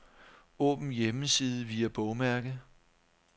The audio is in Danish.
Åbn hjemmeside via bogmærke.